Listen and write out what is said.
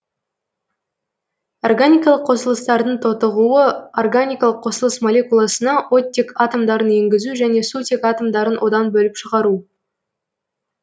органикалық қосылыстардың тотығуы органикалық қосылыс молекуласына оттек атомдарын енгізу және сутек атомдарын одан бөліп шығару